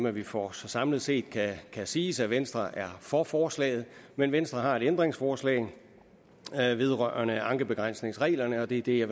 er vi for så samlet set kan det siges at venstre er for forslaget men venstre har et ændringsforslag vedrørende ankebegrænsningsreglerne og det er det jeg